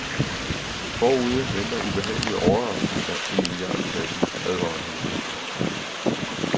Forude venter ubehagelige overraskelser i milliardklassen, advarer han.